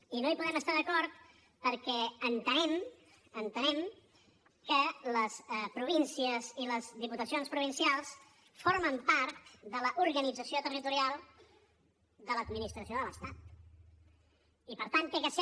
i no hi podem estar d’acord perquè entenem entenem que les províncies i les diputacions provincials formen part de l’organització territorial de l’administració de l’estat i per tant ha de ser